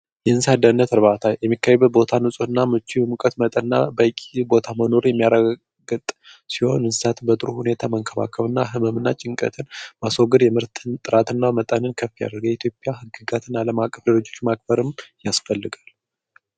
የእንስሣት አደህነት እርባታ የሚካይበ ቦታ ንጹት እና ምቺ በሙቀት መጠር እና በእቂ ቦታ መኖሩ የሚያራገጥ ሲሆን እንስሳት በጥሩ ሁኔታ መንከባከብ እና ህመምና ጭንቀትን ባስግር የምህርትን ጥራት እና መጣንን ከፍያርጌ ኢትዮጵያ ሕግጋትን ዓለም አቅፍልጆች ማክበርም ያስፈልጋል።